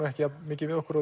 ekki jafn mikið við okkur